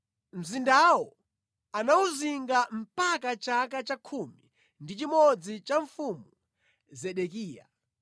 Mzindawo anawuzinga mpaka chaka cha khumi ndi chimodzi cha Mfumu Zedekiya.